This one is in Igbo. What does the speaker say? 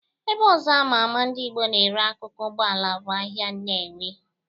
Ebe ọzọ ama ama ndị Igbo na-ere akụkụ Ụgbọala bụ ahịa Nnewi.